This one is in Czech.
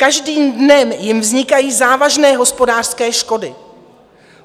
Každým dnem jim vznikají závažné hospodářské škody.